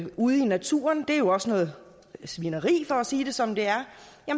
ude i naturen det er jo også noget svineri for at sige det som det er